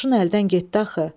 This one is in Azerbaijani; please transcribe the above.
Qoşun əldən getdi axı.